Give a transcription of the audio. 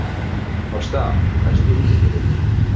Ásta, læstu útidyrunum.